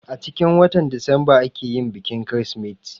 Acikin watan disamba ake yin bikin kirsimeti